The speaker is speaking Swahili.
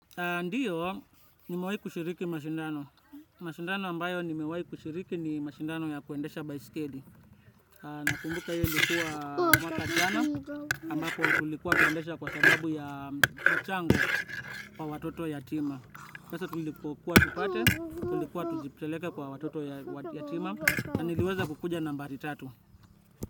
Ndio, nimewahi kushiriki mashindano. Mashindano ambayo nimewahi kushiriki ni mashindano ya kuendesha baiskeli. Nakumbuka hiyo ilikuwa mwaka jana ambako tulikuwa kuendesha kwa sababu ya mchango kwa watoto yatima. Pesa tulipokuwa tupate, tulikuwa tuzipeleke kwa watoto yatima. Na niliweza kukuja nambari tatu.